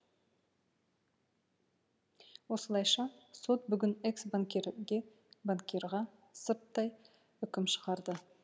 осылайша сот бүгін экс банкриге банкирға сырттай үкім шығарды